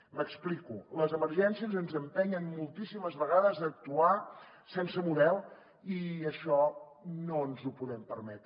m’explico les emergències ens empenyen moltíssimes vegades a actuar sense model i això no ens ho podem permetre